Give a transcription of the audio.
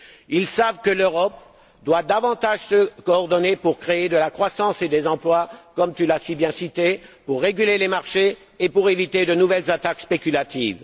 Ils savent que l'Europe doit davantage se coordonner pour créer de la croissance et des emplois, comme tu l'as si bien décrit, pour réguler les marchés et pour éviter de nouvelles attaques spéculatives.